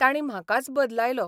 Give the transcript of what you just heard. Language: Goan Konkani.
तांणी म्हाकाच बदलायलो.